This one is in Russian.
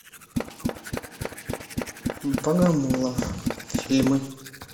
богомолов фильмы